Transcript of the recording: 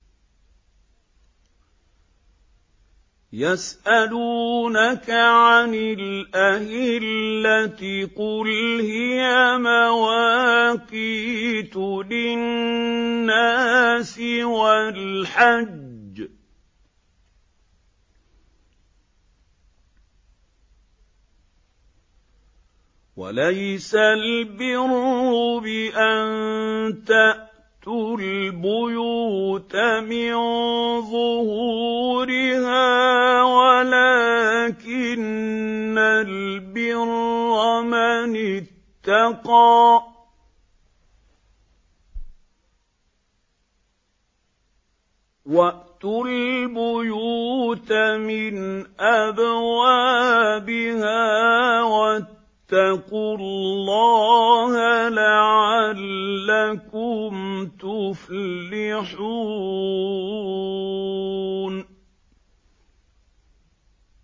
۞ يَسْأَلُونَكَ عَنِ الْأَهِلَّةِ ۖ قُلْ هِيَ مَوَاقِيتُ لِلنَّاسِ وَالْحَجِّ ۗ وَلَيْسَ الْبِرُّ بِأَن تَأْتُوا الْبُيُوتَ مِن ظُهُورِهَا وَلَٰكِنَّ الْبِرَّ مَنِ اتَّقَىٰ ۗ وَأْتُوا الْبُيُوتَ مِنْ أَبْوَابِهَا ۚ وَاتَّقُوا اللَّهَ لَعَلَّكُمْ تُفْلِحُونَ